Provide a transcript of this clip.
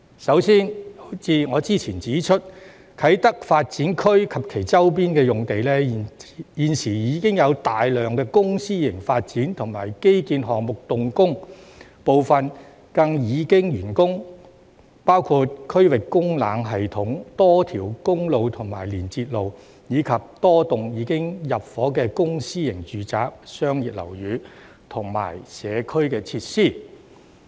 首先，正如我之前指出，啟德發展區及其周邊用地，現時已有大量公私營發展和基建項目動工，部分更已完工，包括區域供冷系統、多條公路及連接路，以及多幢已經入伙的公私營住宅、商業樓宇和社區設施。